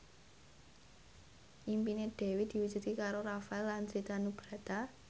impine Dewi diwujudke karo Rafael Landry Tanubrata